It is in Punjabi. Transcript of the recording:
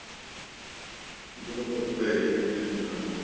ਬੜਾ ਫਰਕ ਪੈਗਿਆ ਜੀ ਅੱਗੇ ਹੁਣ ਤਾਂ ਨਾਲੋ